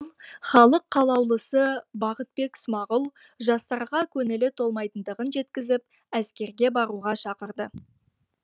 ал халық қалаулысы бақытбек смағұл жастарға көңілі толмайтындығын жеткізіп әскерге баруға шақырды